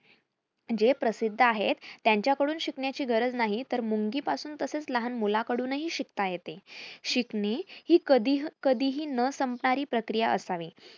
जे प्रसिद्ध आहेत त्यांच्याकडून शिकण्याची गरज नाही तर मुंगीपासून तसेच लहान मुलाकडूनही शिकता येते. शिकणे ही कधीहं कधीही न संपणारी प्रक्रिया असावी.